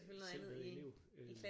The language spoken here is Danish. Selv med elev øh